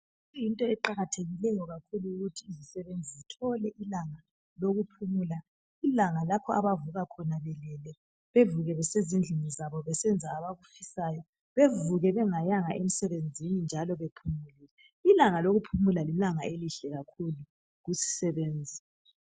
yinto eqakathekileyo kakhulu ukuthi izisebenzi zithole ilanga lokuphumula ilanga lapho abavuka khona belele bevuke besezindlini zabo bevuke bengayanga emsenbenzini njalo ilanga lokuphumla lilanga elihle kakhulu kuzisebenzi